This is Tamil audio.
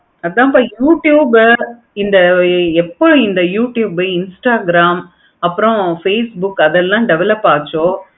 அதான் இப்போ youtubers இந்த இப்போ எப்ப இந்த yoitube ஆஹ் instagram அப்பறம் இந்த facebook அதெல்லாம் develop அச்சோ